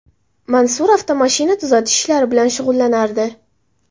Mansur avtomashina tuzatish ishlari bilan shug‘ullanardi.